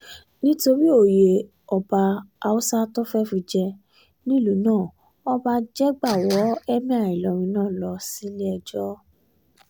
nítorí òye ọba àwọn haúsá tó fẹ́ẹ́ fi jẹ nílùú náà ọba jégbà wọ́ emir ìlọrin lọ sílé-ẹjọ́